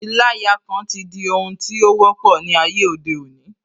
Ìlayakan ti di ohun tí ó wọ́pọ̀ ní ayé òde òní